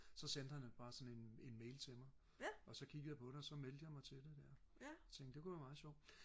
så sendte han bare sådan en en mail på det og så kiggede jeg på det og så meldte jeg mig til det ja og tænkte det kunne være meget sjovt